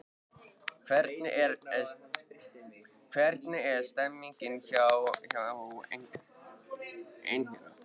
Hvernig er stemningin hjá Einherja?